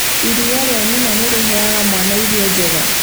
Iria rĩa nyina nĩ rĩheaga mwana irio njega,